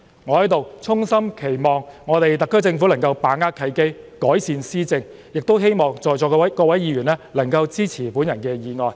我在此衷心期望特區政府能夠把握契機，改善施政，亦希望在席各位議員能夠支持我的議案。